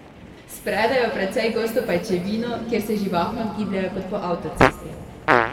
Spredejo precej gosto pajčevino, kjer se živahno gibljejo, kot po avtocesti.